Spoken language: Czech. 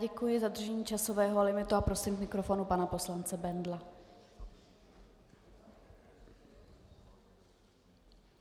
Děkuji za dodržení časového limitu a prosím k mikrofonu pana poslance Bendla.